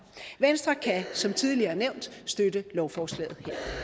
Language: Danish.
venstre kan som tidligere nævnt støtte lovforslaget